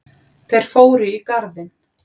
Þeir fóru í garðinn.